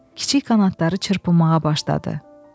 Kiçik qanadları çırpmağa başladı.